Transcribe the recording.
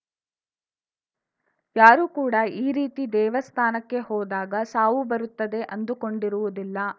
ಯಾರೂ ಕೂಡ ಈ ರೀತಿ ದೇವಸ್ಥಾನಕ್ಕೆ ಹೋದಾಗ ಸಾವು ಬರುತ್ತದೆ ಅಂದುಕೊಂಡಿರುವುದಿಲ್ಲ